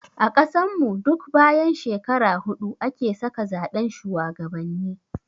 A ƙasan mu duk bayan shekara hudu ake sake zaɓen shuwagabanni